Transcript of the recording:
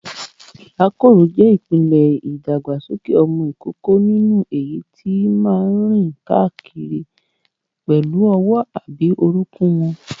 Ìrákòrò jẹ́ ìpele ìdàgbàsókè ọmọ ìkókó nínú èyí tí máa ń rìn káàkiri pẹ̀lú ọwọ́ àti orúnkún wọn.